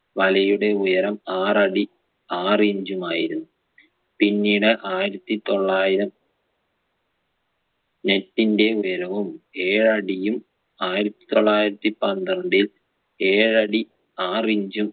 വലയുടെ ഉയരം ആറടി ആറ് inch മായിരുന്നു പിന്നീട് ആയിരത്തിതൊള്ളായിരം net ൻ്റെ ഉയരവും ഏഴടിയും ആയിരത്തി തൊള്ളായിരത്തി പന്ത്രണ്ടിൽ ഏഴടി ആറ് inch ഉം